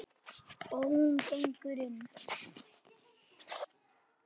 Og ekkert að róast?